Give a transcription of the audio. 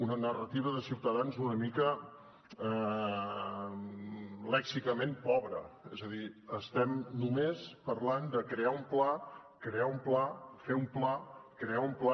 una narrativa de ciutadans una mica lèxicament pobra és a dir estem només parlant de crear un pla crear un pla fer un pla crear un pla